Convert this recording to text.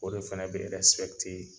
O de fana bɛ